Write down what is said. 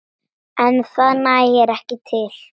En það nægi ekki til.